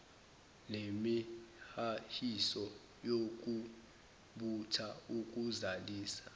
nemihahiso yokubutha ukuzalisa